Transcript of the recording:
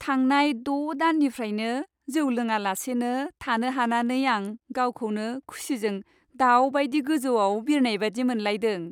थांनाय द' दाननिफ्रायनो जौ लोङालासेनो थानो हानानै आं गावखौनो खुसिजों दाउबादि गोजौआव बिरबायनाय बादि मोनलायदों!